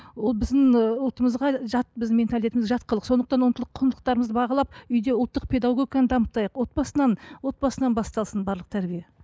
ол біздің ы ұлтымызға жат біздің жат қылық сондықтан ұлттық құндылықтарымызды бағалап үйде ұлттық педагогиканы дамытайық отбасынан отбасынан басталсын барлық тәрбие